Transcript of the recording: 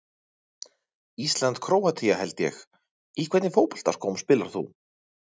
Ísland-Króatía held ég Í hvernig fótboltaskóm spilar þú?